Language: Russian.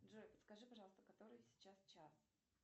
джой подскажи пожалуйста который сейчас час